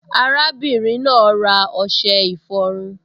Arábìnrin náà ra ọṣẹ ìfọrun